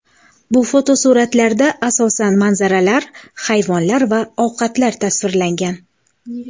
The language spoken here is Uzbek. Bu fotosuratlarda, asosan, manzaralar, hayvonlar va ovqatlar tasvirlangan.